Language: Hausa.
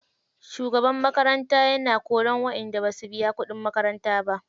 Shugaban makaranta yana korar waƴanda basu biyu kuɗin makaranta ba.